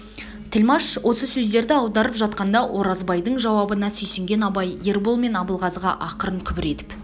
тілмаш осы сөздерді аударып жатқанда оразбайдың жауабына сүйсінген абай ербол мен абылғазыға ақырын күбір етіп